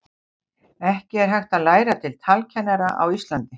Ekki er hægt að læra til talkennara á Íslandi.